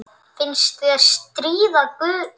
Finnst ég stríða guði.